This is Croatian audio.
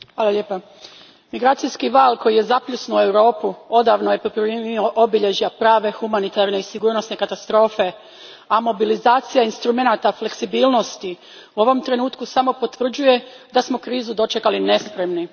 Gospođo predsjednice, migracijski val koji je zapljusnuo Europu odavno je poprimio obilježja prave humanitarne i sigurnosne katastrofe, a mobilizacija instrumenata fleksibilnosti u ovom trenutku samo potvrđuje da smo krizu dočekali nespremni.